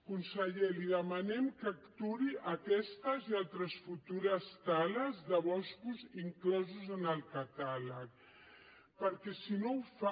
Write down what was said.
conseller li demanem que aturi aquestes i altres futures tales de boscos inclosos en el catàleg perquè si no ho fa